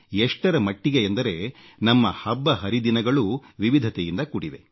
ಎಷ್ಟರಮಟ್ಟಿಗೆ ಎಂದರೆ ನಮ್ಮ ಹಬ್ಬ ಹರಿದಿನಗಳೂ ವಿವಿಧತೆಯಿಂದ ಕೂಡಿವೆ